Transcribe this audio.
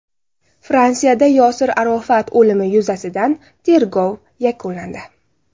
Fransiyada Yosir Arofat o‘limi yuzasidan tergov yakunlandi.